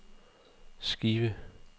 skive